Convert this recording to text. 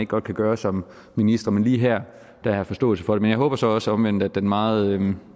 godt kan gøre som minister men lige her har jeg forståelse for det men jeg håber så også omvendt at den meget jeg vil